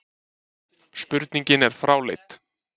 Spurningin er fráleit